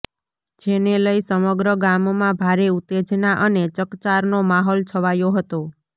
જેને લઇ સમગ્ર ગામમાં ભારે ઉત્તેજના અને ચકચારનો માહોલ છવાયો હતો